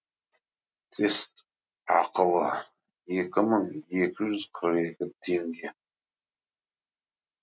тест ақылы екі мың екі жүз қырық екі теңге